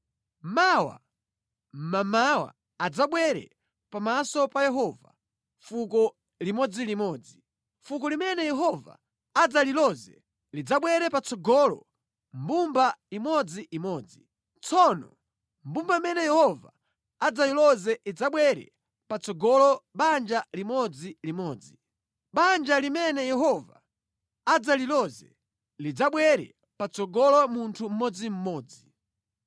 “Mawa mmamawa adzabwere pamaso pa Yehova fuko limodzilimodzi. Fuko limene Yehova adzaliloze lidzabwere patsogolo mbumba imodziimodzi. Tsono mbumba imene Yehova adzayiloze idzabwere patsogolo banja limodzilimodzi. Banja limene Yehova adzaliloze lidzabwere patsogolo munthu mmodzimmodzi.